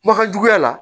Kumakan juguya la